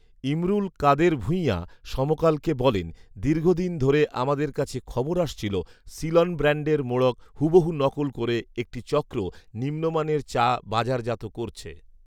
ইমরুল কাদের ভূঁঈয়া সমকালকে বলেন, ‘দীর্ঘদিন ধরে আমাদের কাছে খবর আসছিল সিলন ব্র্যান্ডের মোড়ক হুবহু নকল করে একটি চক্র নিম্নমানের চা বাজারজাত করছে